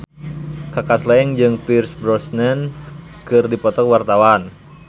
Kaka Slank jeung Pierce Brosnan keur dipoto ku wartawan